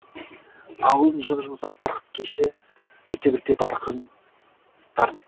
ауылдың жұп жұмсақ барқыт кеші бірте бірте барқын тарт